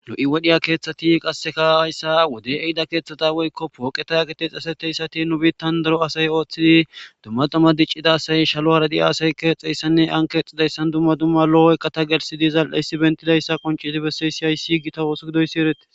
Nu wodiya keeththati qassika hayssa wode ehido keeththata woykko pooqeta giddin asay nu biittan daro asay ooththidi dumma dumma diccida asay shaluwara diya asay keetstsesinne ani keetstsiday dumma dumma loo iqata gelsi diza issa qonccissi bessida issa.